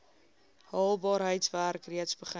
haalbaarheidswerk reeds begin